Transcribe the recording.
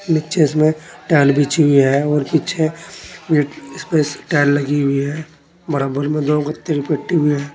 नीचे इसमें टाइल बिछी हुई है और पीछे ये इस पे टाइल लगी हुई है बराबर में दो कि तीन पेटी भी है।